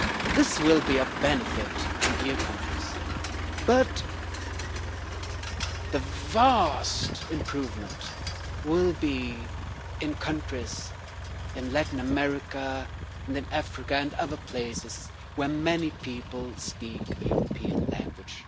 This will be of benefit in EU countries, but the vast improvement will be in countries in Latin America and then Africa and other places where many people speak a European language.